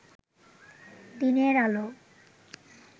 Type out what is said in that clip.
দিনের আলো